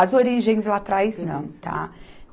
As origens lá atrás, não, tá?